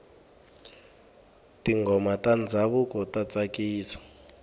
tinghoma ta ndhavuko ta tsakisa